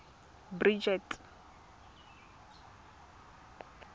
bridget